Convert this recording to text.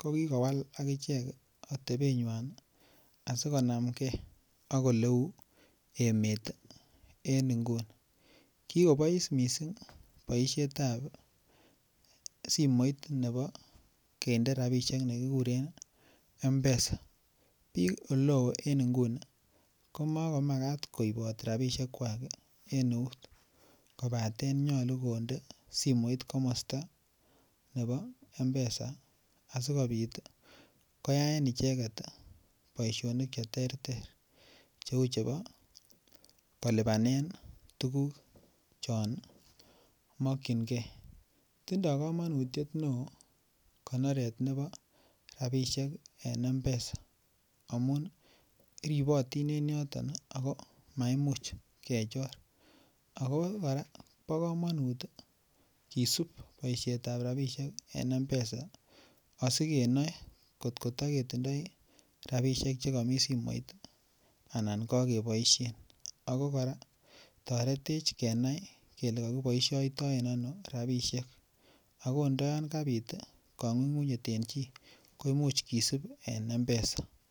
kokiwal agichek atebenywan asi konamge ak Oleu emet en nguni kigobois mising boisiet ab simoit ne kindo rabisiek nekikuren mpesa bik Oleo en nguni ko Ma komakat koibot rabisiekwak en eut kobaten nyolu konde simoit komosta nebo Mpesa asikobit koyaen icheget boisionik Che terter Cheu chebo kolipanen tuguk chon makyingei tindoi kamanutiet neo konoret nebo rabisiek en mpesa amun ribotin en yoton ago maimuch kechor ago kora bo komonut kisub boisiet ab rabisiek en mpesa asi kenoe angot ko take tinye rabisiek Che mi simoit anan kokeboisien ako kora toretech kenai kele ko kiboisioitoen ano rabisiek ako ndo yon kabit kangunyngunyet en chi komuch kisib en mpesa